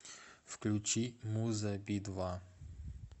включи муза би два